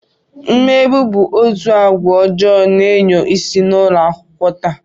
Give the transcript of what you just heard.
Mmegbu bụ otu agwa ọjọọ na-enyo isi n'ụlọakwụkwọ taa